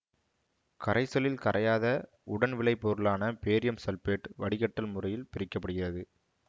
கரைசலில் கரையாத உடன் விளை பொருளான பேரியம் சல்பேட்டு வடிகட்டல் முறையில் பிரிக்க படுகிறது